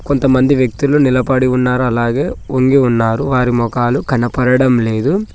కొంతమంది వ్యక్తులు నిలబడి ఉన్నారో అలాగే ఉండి ఉన్నారు వారి మోకాలు కనపడడం లేదు.